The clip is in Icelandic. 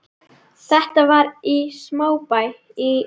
Þetta var í smábæ í